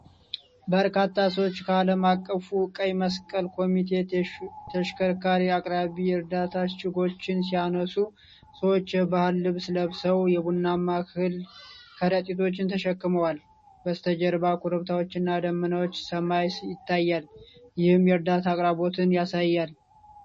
በርካታ ሰዎች ከዓለም አቀፉ ቀይ መስቀል ኮሚቴ ተሽከርካሪ አቅራቢያ የእርዳታ እሽጎች ሲያነሱ ። ሰዎች የባህል ልብስ ለብሰው የቡናማ እህል ከረጢቶችን ተሸክመዋል። በስተጀርባ ኮረብታዎችና ደመናማ ሰማይ ይታያል፤ ይህም የእርዳታ አቅርቦትን ያሳያል።